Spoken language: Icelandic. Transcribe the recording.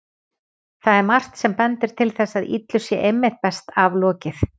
Það er margt sem bendir til þess að illu sé einmitt best aflokið.